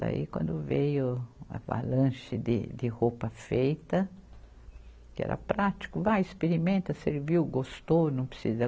Daí quando veio a avalanche de, de roupa feita, que era prático, vai, experimenta, serviu, gostou, não precisa.